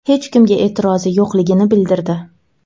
hech kimga e’tirozi yo‘qligini bildirdi.